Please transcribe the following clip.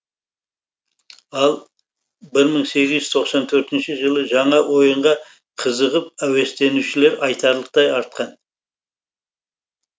ал бір мың сегіз жүз тоқсан төртінші жылы жаңа ойынға қызығып әуестенушілер айтарлықтай артқан